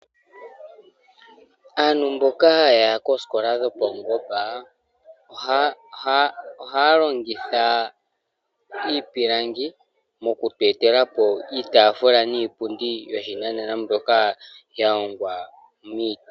Aantu mboka yaya kesikola dhopawungomba ohalongitha iipilangi moku twetelapo iitafula niipundi yoshinanena mbyoka yahongwa miiti.